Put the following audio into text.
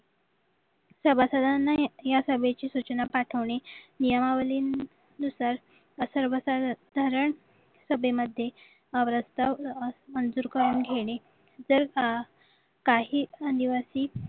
सभासदांना या सभेची सूचना पाठवणे नियमावली नुसार व सर्वसाधारण सभेमध्ये मंजूर करून घेणे जर काही आदिवासी